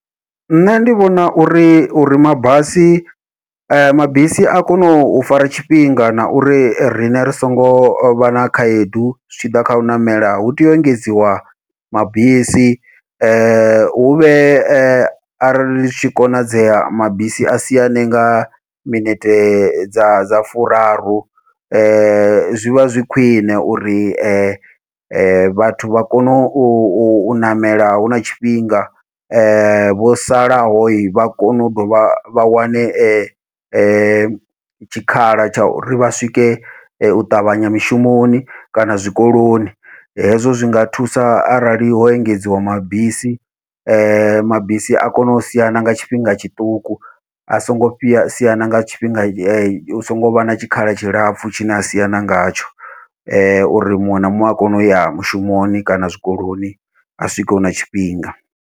Nṋe ndi vhona uri uri mabasi mabisi a kone u fara tshifhinga na uri riṋe ri songo vha na khaedu zwi tshi ḓa kha u ṋamela hu tea u engedziwa mabisi huvhe arali zwi tshi konadzea mabisi a siane nga minete dza dza furaru, zwivha zwi khwiṋe uri vhathu vha kone u ṋamela huna tshifhinga vho salaho vha kone u dovha vha wane tshikhala tsha uri vha swike u ṱavhanya mushumoni kana zwikoloni. Hezwo zwinga thusa arali ho engedziwa mabisi mabisi a kone u siana nga tshifhinga tshiṱuku, a songo siana nga tshifhinga hu songo vha na tshikhala tshilapfhu tshine a sina ngatsho, uri muṅwe na muṅwe a kone uya mushumoni kana zwikoloni a swike huna tshifhinga.